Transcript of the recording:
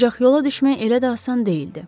Ancaq yola düşmək elə də asan deyildi.